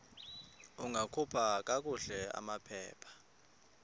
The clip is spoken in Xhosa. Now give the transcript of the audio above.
ungakhupha kakuhle amaphepha